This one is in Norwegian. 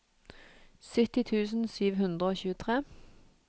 sytti tusen sju hundre og tjuetre